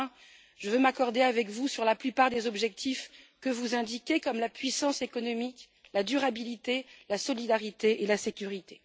Enfin, je veux m'accorder avec vous sur la plupart des objectifs que vous indiquez, comme la puissance économique, la durabilité, la solidarité et la sécurité.